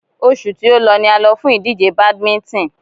Oṣù tí o lọ ni a lọ fún ìdíje badminton.